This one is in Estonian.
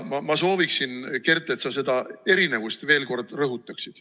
Ma sooviksin, Kert, et sa seda erinevust veel kord rõhutaksid.